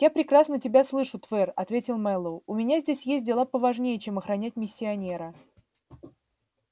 я прекрасно тебя слышу твер ответил мэллоу у меня здесь есть дела поважнее чем охранять миссионера